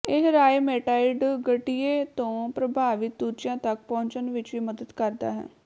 ਇਹ ਰਾਇਮੇਟਾਇਡ ਗਠੀਏ ਤੋਂ ਪ੍ਰਭਾਵਿਤ ਦੂਜਿਆਂ ਤਕ ਪਹੁੰਚਣ ਵਿਚ ਵੀ ਮਦਦ ਕਰਦਾ ਹੈ